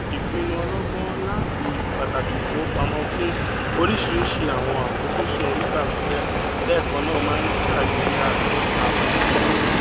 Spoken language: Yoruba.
ìpìnnu ọlọgbọn latí pàtàkì ìfowópamọn fún óríṣiríṣi àwọn àfojúsùn onígbà pípẹ lẹẹkan náà máa ṣàgbéga àbò ìnáwó